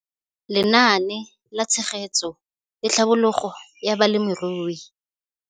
Lenaane la Tshegetso le Tlhabololo ya Balemirui.